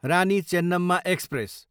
Rani Chennamma express